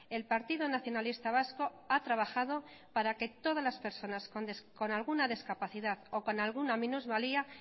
el partido nacionalista vasco ha trabajado para que todas las personas con alguna discapacidad o con alguna minusvalía